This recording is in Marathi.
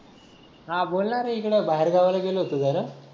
हा बोलणं बाहेर गावाला गेलो होतो जरा